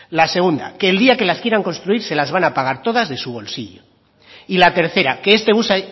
la segunda que el día que las quieran construir se las van a pagar todas de su bolsillo y la tercera que este bus